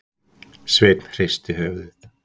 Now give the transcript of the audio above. Sveinn hristi höfuðið.